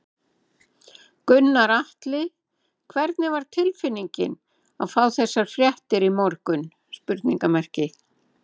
Gunnar Atli: Hvernig var tilfinningin að fá þessar fréttir í morgun?